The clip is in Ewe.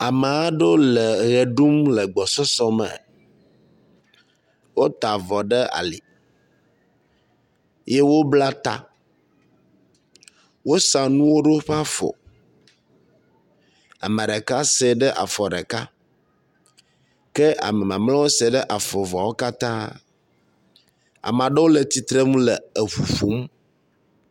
Ame aɖewo le me ɖum le gbɔsɔsɔ me, wota vɔ ɖe ali ye wobla ta. Wosa nuwo ɖe woƒe afɔ, ameɖeka sɛɛ ɖe afɔ ɖeka ke ame mamleawo sɛɛ ɖe afɔ eveawo katã. Ameaɖewo le titrenu le eʋu ƒom.